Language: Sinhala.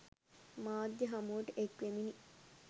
මාධ්‍ය හමුවට එක්වෙමිනි.